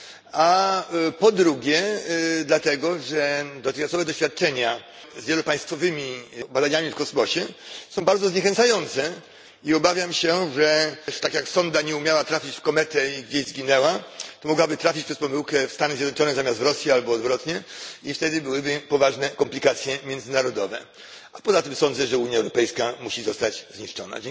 A po drugie, dlatego że dotychczasowe doświadczenia z wielopaństwowymi badaniami w kosmosie są bardzo zniechęcające i obawiam się, że tak jak sonda nie umiała trafić w kometę i gdzieś zginęła, to mogłaby trafić przez pomyłkę w Stany Zjednoczone zamiast Rosji albo odwrotnie i wtedy byłyby poważne komplikacje międzynarodowe. A poza tym sądzę, że Unia Europejska musi zostać zniszczona.